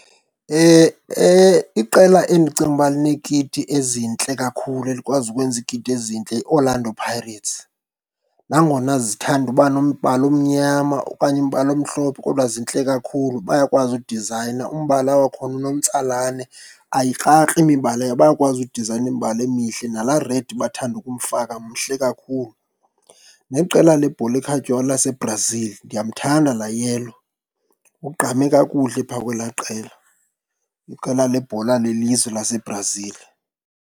Iqela endicinga ukuba lineekiti ezintle kakhulu, elikwazi ukwenza iikiti ezintle yiOrlando Pirates. Nangona zithanda uba nombala omnyama okanye umbala omhlophe kodwa zintle kakhulu, bayakwazi udizayina, umbala wakhona unomtsalane ayikrakri imibala . Bayakwazi udizayina imibala emihle, nalaa red bathanda ukumfaka mhle kakhulu. Neqela lebhola ekhatywayo laseBrazil, ndiyamthanda laa yellow, ugqame kakuhle pha kwelaa qela. Iqela lebhola lelizwe laseBrazil.